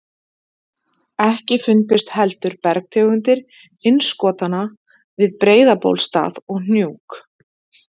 Ekki fundust heldur bergtegundir innskotanna við Breiðabólsstað og Hnjúk.